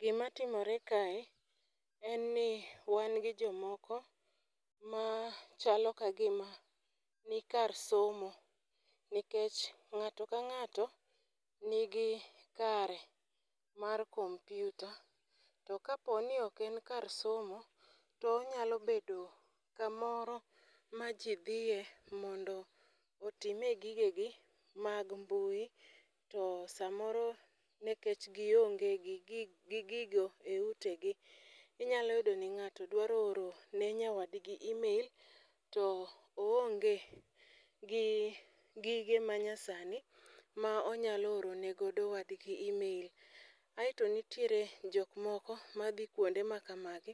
Gimatimore kae en ni wan gi jomoko ma chalo ka gima nikar somo nikech ng'ato ka ng'ato ngi kare mar kompyuta to kapo ni ok en kar somo, to onyalo bedo kamoro ma ji dhiye mondo otime gigegi mag mbui, to samoro nikech gionge gi gigo e utegi,i nyalo yudo ni ng'ato dwaro oro ne nyawadgi e-mail to oonge gi gige manyasani ma onyalo oro ne godo wadgi e-mail. Aeto nitiere jok moko madhi kwonde ma kamagi